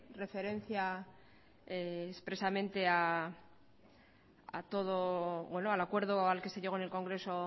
referencia expresamente a todo bueno al acuerdo al que se llegó en el congreso